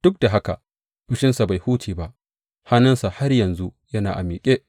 Duk da haka, fushinsa bai huce ba, hannunsa har yanzu yana a miƙe.